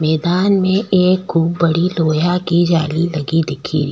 मैदान में एक बड़ी लोहा की जाली लगी दिखरी।